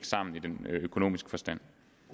sammen i den økonomiske forstand